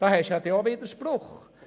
Dies ist auch ein Widerspruch.